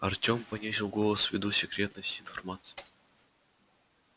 артём понизил голос ввиду секретности информации